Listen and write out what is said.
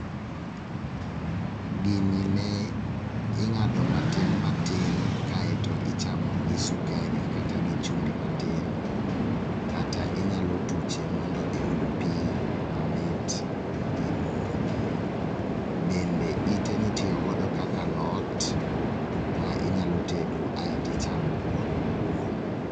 Gini ne ing'ado matin matin kaeto ichamo gi sukari kata gi chumbi matin. Kata inyalo tuche mondo iyud pi mamit imodhi. Bende ite nitiyo godo kaka alot ma inyalo tedo kaeto ichamo kod kuon.